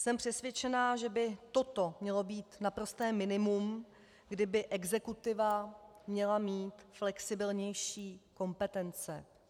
Jsem přesvědčena, že by toto mělo být naprosté minimum, kdy by exekutiva měla mít flexibilnější kompetence.